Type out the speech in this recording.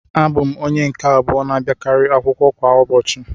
Abụ m onye nke abụọ na-abịakarị akwụkwọ kwa ụbọchị